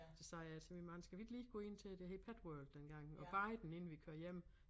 Så sagde jeg til min mand skal vi ikke lige gå ind til det hed Petworld dengang og bade den inden vi kører hjem